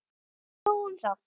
En nóg um það.